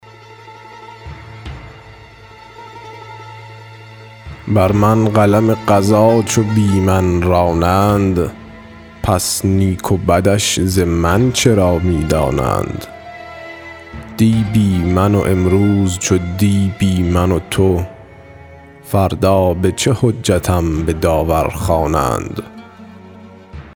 بر من قلم قضا چو بی من رانند پس نیک و بدش ز من چرا می دانند دی بی من و امروز چو دی بی من و تو فردا به چه حجتم به داور خوانند